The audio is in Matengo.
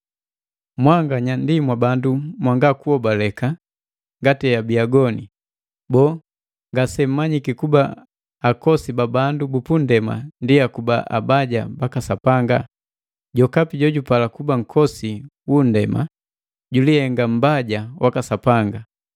Mwanganya ndi mwabandu mwanga kuhobaleka ngati heabi agoni. Boo, ngasemmanyiki kuba akosi ba bandu bu nndema ndi akuba abaja baka Sapanga? Jokapi jojupala kuba nkosi wu nndema julihenga mbaja waka Sapanga.